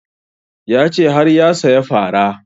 Ya ce har ya saya fara